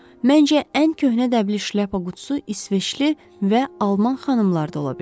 Məncə ən köhnə dəbli şlyapa qutusu İsveçli və alman xanımlarda ola bilər.